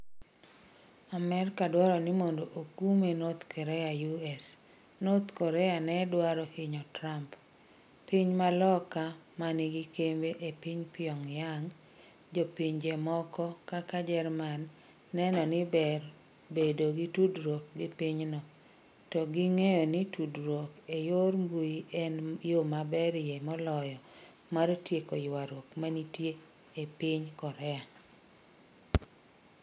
Amerka dwaro ni mondo okume North Korea US: North Korea ne dwaro hinyo Trump: Piny ma loka ma nigi kembe e piny Pyongyang, Jo pinje moko kaka Jerman, neno ni ber bedo gi tudruok gi pinyno, ka ging'eyo ni tudruok e yor mbuyi en yo maberie moloyo mar tieko ywaruok mantie e piny Korea.